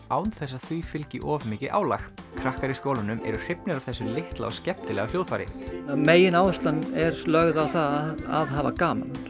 án þess að því fylgi of mikið álag krakkar í skólanum eru hrifnir af þessu litla og skemmtilega hljóðfæri megináherslan er lögð á að hafa gaman